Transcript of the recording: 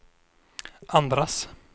andras